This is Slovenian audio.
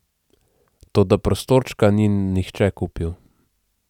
Toda prostorčka ni nihče kupil.